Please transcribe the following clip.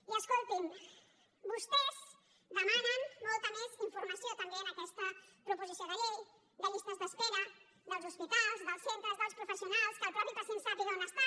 i escoltin vostès demanen molta més informació també en aquesta proposició de llei de llistes d’espera dels hospitals dels centres dels professionals que el mateix pacient sàpiga on està